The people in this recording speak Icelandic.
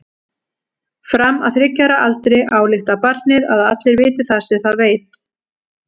Fram að þriggja ára aldri ályktar barnið að allir viti það sem það veit.